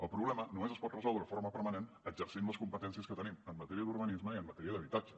el problema només es pot resoldre de forma permanent exercint les competències que tenim en matèria d’urbanisme i en matèria d’habitatge